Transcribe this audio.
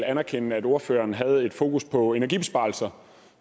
anerkende at ordføreren havde et fokus på energibesparelser